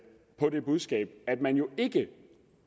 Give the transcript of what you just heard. det budskab at man jo ikke